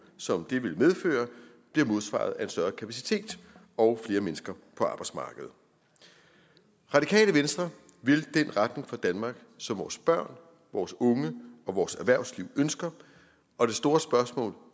som det vil medføre bliver modsvaret af en større kapacitet og flere mennesker på arbejdsmarkedet radikale venstre vil den retning for danmark som vores børn vores unge og vores erhvervsliv ønsker og det store spørgsmål